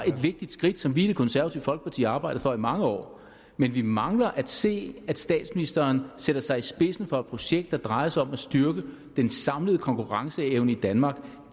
et vigtigt skridt som vi i det konservative folketparti havde arbejdet for i mange år men vi mangler at se at statsministeren sætter sig i spidsen for et projekt der drejer sig om at styrke den samlede konkurrenceevne i danmark og